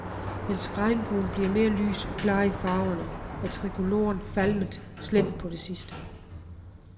Mens regnbuen bliver mere lys og klar i farverne, er trikoloren falmet slemt på det sidste.